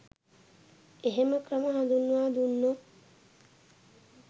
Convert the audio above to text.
එහෙම ක්‍රම හඳුන්වා දුන්නොත්